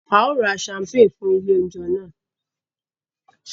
A yóò rà champagne fún ilé oúnjẹ náà